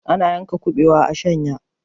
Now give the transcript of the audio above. ana yanka kubewa a shanya